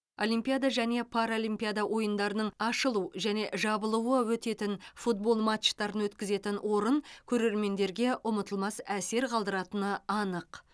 олимпиада және паралимпиада ойындарының ашылу және жабылуы өтетін футбол матчтарын өткізетін орын көрермендерге ұмтылмас әсер қалдыратыны анық